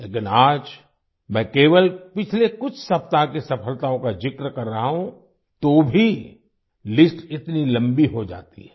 लेकिन आज मैं केवल पिछले कुछ सप्ताह की सफलताओं का ज़िक्र कर रहा हूँ तो भी लिस्ट इतनी लंबी हो जाती है